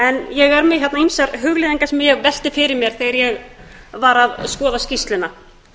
ég er með hérna ýmsar hugleiðingar sem ég velti fyrir mér þegar ég var að skoða skýrsluna